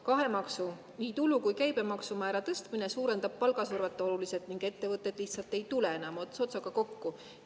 Kahe maksu, nii tulu- kui ka käibemaksu määra tõstmine suurendab palgasurvet oluliselt ning ettevõtted lihtsalt ei tule enam ots otsaga kokku.